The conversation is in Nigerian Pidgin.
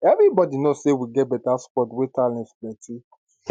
everybody know say we get beta quad wey talents plenti